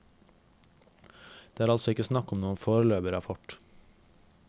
Det er altså ikke snakk om noen foreløpig rapport.